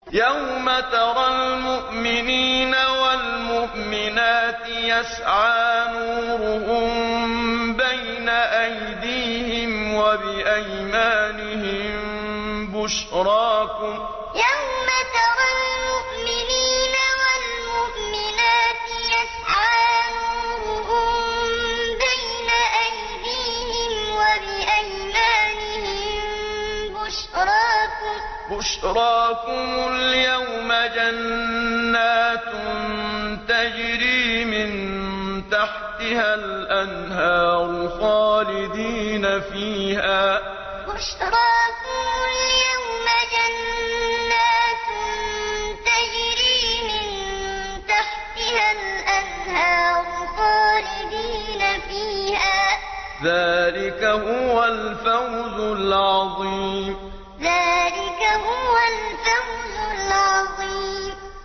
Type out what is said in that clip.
يَوْمَ تَرَى الْمُؤْمِنِينَ وَالْمُؤْمِنَاتِ يَسْعَىٰ نُورُهُم بَيْنَ أَيْدِيهِمْ وَبِأَيْمَانِهِم بُشْرَاكُمُ الْيَوْمَ جَنَّاتٌ تَجْرِي مِن تَحْتِهَا الْأَنْهَارُ خَالِدِينَ فِيهَا ۚ ذَٰلِكَ هُوَ الْفَوْزُ الْعَظِيمُ يَوْمَ تَرَى الْمُؤْمِنِينَ وَالْمُؤْمِنَاتِ يَسْعَىٰ نُورُهُم بَيْنَ أَيْدِيهِمْ وَبِأَيْمَانِهِم بُشْرَاكُمُ الْيَوْمَ جَنَّاتٌ تَجْرِي مِن تَحْتِهَا الْأَنْهَارُ خَالِدِينَ فِيهَا ۚ ذَٰلِكَ هُوَ الْفَوْزُ الْعَظِيمُ